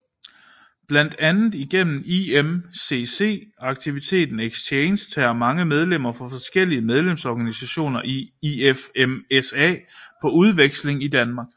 Blandt andet igennem IMCC aktiviteten Exchange tager mange medlemmer fra forskellige medlemsorganisationer i IFMSA på udveksling til Danmark